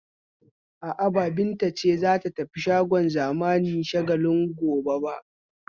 A'a, ba Binta ce za ta tafi shagon zamani na Shagalinku ba gobe.